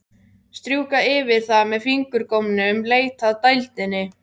Strjúka yfir það með fingurgómunum, leita að dældinni.